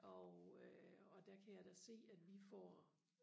og øh og der kan jeg da se at vi får